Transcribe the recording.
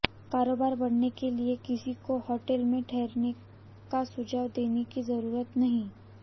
कारोबार बढ़ाने के लिए किसी को होटल में ठहरने का सुझाव देने की जरूरत नहीं